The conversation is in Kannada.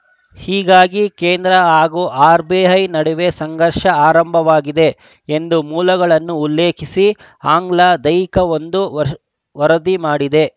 ಹೀಗಾಗಿ ಕೇಂದ್ರ ಹಾಗೂ ಆರ್‌ಬಿಐ ನಡುವೆ ಸಂಘರ್ಷ ಆರಂಭವಾಗಿದೆ ಎಂದು ಮೂಲಗಳನ್ನು ಉಲ್ಲೇಖಿಸಿ ಆಂಗ್ಲದೈಕವೊಂದು ವರ ವರದಿ ಮಾಡಿದೆ